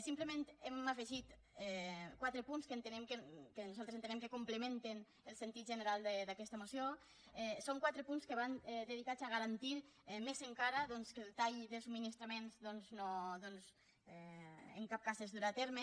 simplement hem afegit quatre punts que entenem que nosaltres entenem que complementen el sentit general d’aquesta moció són quatre punts que van dedicats a garantir més encara doncs que el tall de subministraments doncs en cap cas es durà a terme